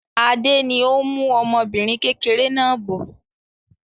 Adé ni ó ń mú ọmọbìnrin kékeré náà bọ̀.